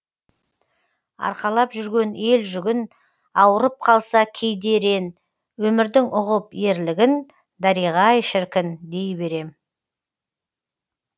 арқалап жүрген ел жүгін ауырып қалса кейде ерен өмірдің ұғып ерлігін дариға ай шіркін дей берем